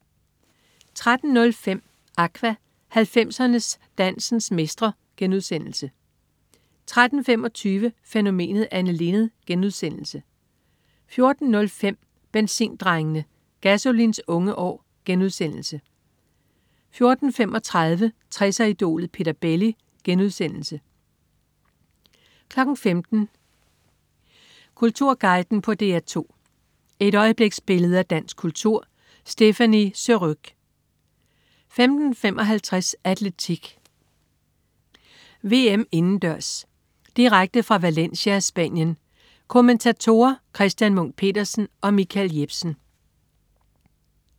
13.05 Aqua. 90'er-dancens mestre* 13.25 Fænomenet Anne Linnet* 14.05 Benzindrengene. Gasolins unge år* 14.35 60'er-idolet Peter Belli* 15.00 Kulturguiden på DR2. Et øjebliksbillede af dansk kultur. Stéphanie Surrugue 15.55 Atletik: VM indendørs. Direkte fra Valencia, Spanien. Kommentatorer: Christian Munk Petersen og Michael Jepsen